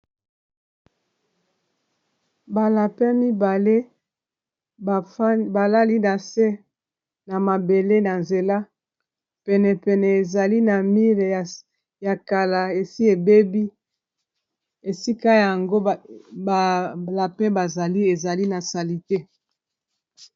Ba lapin mibale balali na se na mabele na nzela pene pene ezali na mir ya kala esi ebebi esika yango ba lapin bazali ezali na salite.